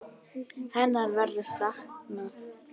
Hennar verður saknað.